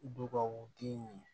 Dubaw den ye